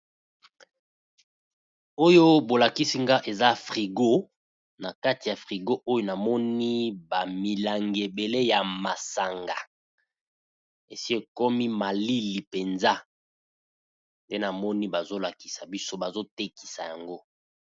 Oyo bo lakisi nga eza frigo. Na kati ya frigo oyo, na moni ba milangi ebélé ya masanga, esi ekomi malili penza. Pe na moni bazo lakisa biso, bazo tekisa yango.